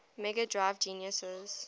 mega drive genesis